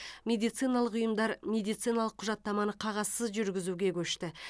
медициналық ұйымдар медициналық құжаттаманы қағазсыз жүргізуге көшті